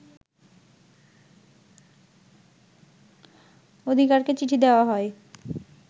অধিকারকে চিঠি দেয়া হয়